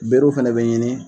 Berew fɛnɛ bɛ ɲini